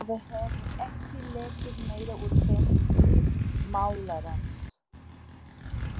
Það hefur ekki lekið meira úr pensli málarans.